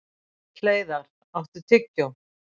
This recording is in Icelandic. Hleiðar, áttu tyggjó?